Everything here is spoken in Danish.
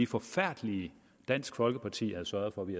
forfærdelige dansk folkeparti havde sørget for vi